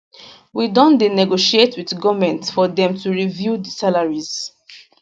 we don dey negotiate wit goment for dem to review di salaries